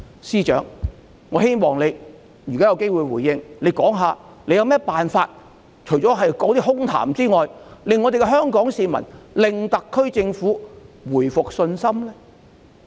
司長，如果你之後有機會回應，我希望你說說除了空談之外，有何辦法令香港市民恢復對特區政府的信心呢？